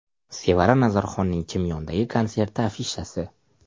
Sevara Nazarxonning Chimyondagi konserti afishasi.